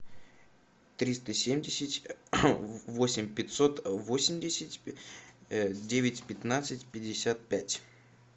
триста семьдесят восемь пятьсот восемьдесят девять пятнадцать пятьдесят пять